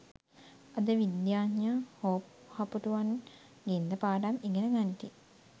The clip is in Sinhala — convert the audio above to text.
අද විද්‍යාඥයා හෝහපුටුවන් ගෙන් ද පාඩම් ඉගෙන ගනිති